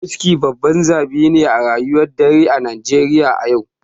Wuski babban zabi ne a rayuwar dare a Najeriya a yau.